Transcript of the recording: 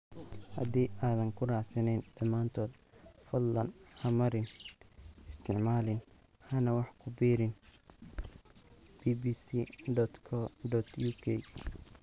Haddii aadan ku raacsanayn dhamaantood fadlan ha marin, isticmaalin hana wax ku biirin bbc.co.uk.